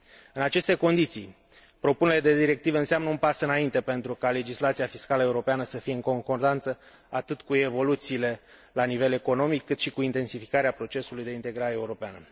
În aceste condiții propunerea de directivă înseamnă un pas înainte pentru ca legislația fiscală europeană să fie în concordanță atât cu evoluțiile la nivel economic, cât și cu intensificarea procesului de integrare europeană.